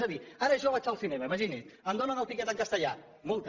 és a dir ara jo vaig al cinema imagini’s em donen el tiquet en castellà multa